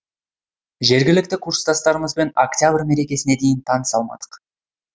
жергілікті курстастарымызбен октябрь мерекесіне дейін таныса алмадық